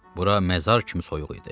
Bura məzar kimi soyuq idi.